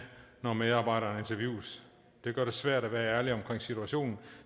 når medarbejderen interviewes det gør det svært at være ærlig om situationen